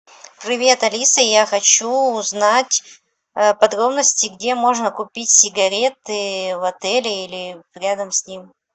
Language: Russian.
привет алиса я хочу узнать подробности где можно купить сигареты в отеле или рядом с ним